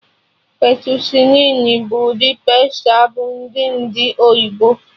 Fettucini bụ ụdị pasta bụ ndị ndị oyibo